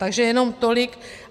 Takže jenom tolik.